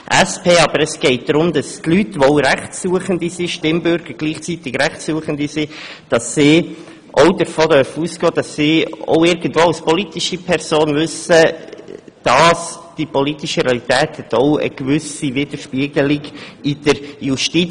Aber es geht darum, dass Stimmbürger, die auch Rechtsuchende sind, davon ausgehen dürfen, dass sich der politische Proporz auch in der Justiz widerspiegelt.